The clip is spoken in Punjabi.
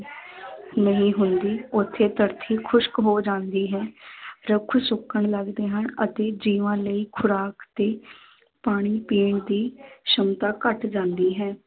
ਨਹੀਂ ਹੁੰਦੀ, ਉੱਥੇ ਧਰਤੀ ਖੁਸਕ ਹੋ ਜਾਂਦੀ ਹੈ ਰੁੱਖ ਸੁੱਕਣ ਲੱਗਦੇ ਹਨ ਅਤੇ ਜੀਵਾਂ ਲਈ ਖੁਰਾਕ ਤੇ ਪਾਣੀ ਪੀਣ ਦੀ ਸੰਮਤਾ ਘੱਟ ਜਾਂਦੀ ਹੈ।